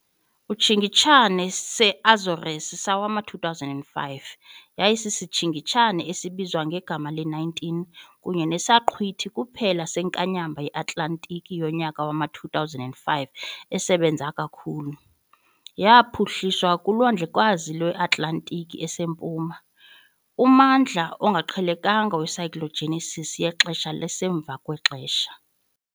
Isitshingitshane se-Azores sowama-2005 yayisisitshingitshane esibizwa ngegama le-19 kunye nesaqhwithi kuphela senkanyamba yeAtlantiki yonyaka wama-2005 esebenza kakhulu. Yaphuhliswa kuLwandlekazi lweAtlantiki esempuma, ummandla ongaqhelekanga we -cyclogenesis yexesha lasemva kwexesha.